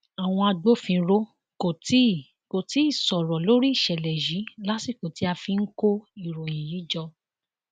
àwọn agbófinró kò tí kò tí ì sọrọ lórí ìṣẹlẹ yìí lásìkò tí a fi ń kó ìròyìn yìí jọ